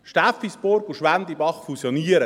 Steffisburg und Schwendibach fusionieren;